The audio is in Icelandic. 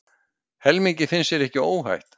Helmingi finnst sér ekki óhætt